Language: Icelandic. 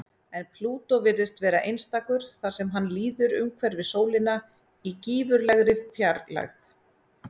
En Plútó virðist vera einstakur þar sem hann líður umhverfis sólina í gífurlegri fjarlægð.